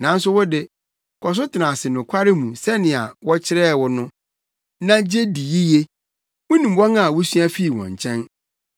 Nanso wo de, kɔ so tena ase nokware mu sɛnea wɔkyerɛɛ wo no, na gye di yiye. Wunim wɔn a wusua fii wɔn nkyɛn,